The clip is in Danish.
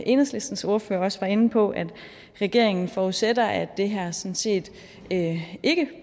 enhedslistens ordfører også var inde på at regeringen forudsætter at det her sådan set ikke